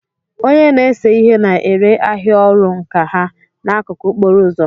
Onye na-ese ihe na-ere ahịa ọrụ nka ha n'akụkụ okporo ụzọ.